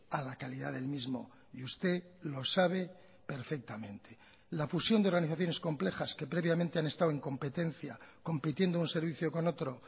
a la calidad del mismo y usted lo sabe perfectamente la fusión de organizaciones complejas que previamente han estado en competencia compitiendo un servicio con otro